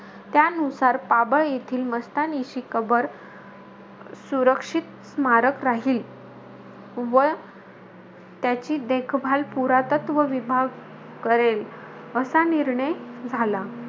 त्यानुसार, बाभळ येथील मस्तानीची कबर सुरक्षित स्मारक राहील व त्याची देखभाल पुरातत्व विभाग करेल, असा निर्णय झाला.